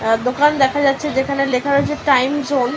অ্যা দোকান দেখা যাচ্ছে যেখানে লেখা রয়েছে টাইম জোন ।